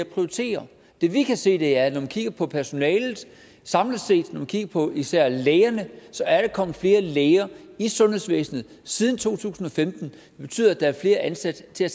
prioritere det vi kan se er at når man kigger på personalet samlet set når man kigger på især lægerne så er der kommet flere læger i sundhedsvæsenet siden to tusind og femten det betyder at der er flere ansat til at